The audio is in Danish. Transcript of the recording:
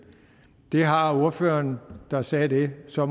det har ordføreren der sagde det så